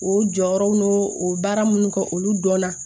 O jɔyɔrɔw n'o baara minnu kɛ olu dɔnna